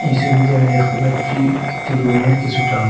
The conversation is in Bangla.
এই সবিতে আমি দেখতে পাচ্চি একটি রুমের কিসুটা অং--